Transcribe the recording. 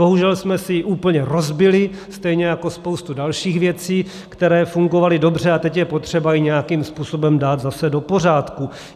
Bohužel jsme si ji úplně rozbili, stejně jako spoustu dalších věcí, které fungovaly dobře, a teď je potřeba ji nějakým způsobem dát zase do pořádku.